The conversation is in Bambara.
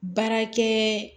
Baarakɛ